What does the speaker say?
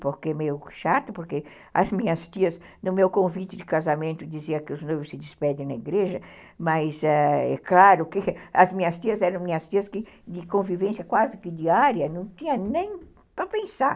Porque é meio chato, porque as minhas tias, no meu convite de casamento, diziam que os noivos se despedem na igreja, mas é claro que as minhas tias eram minhas tias de convivência quase que diária, não tinha nem para pensar.